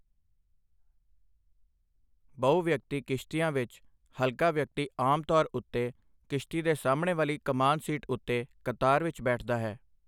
ਬਹੁ ਵਿਅਕਤੀ ਕਿਸ਼ਤੀਆਂ ਵਿੱਚ, ਹਲਕਾ ਵਿਅਕਤੀ ਆਮ ਤੌਰ ਉਤੇ ਕਿਸ਼ਤੀ ਦੇ ਸਾਹਮਣੇ ਵਾਲੀ ਕਮਾਨ ਸੀਟ ਉੱਤੇ ਕਤਾਰ ਵਿੱਚ ਬੈਠਦਾ ਹੈ।